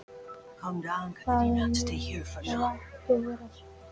Það mun þó ekki vera svo.